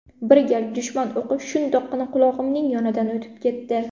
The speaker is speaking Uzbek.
Bir gal dushman o‘qi shundoqqina qulog‘imning yonidan o‘tib ketdi.